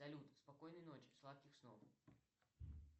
салют спокойной ночи сладких снов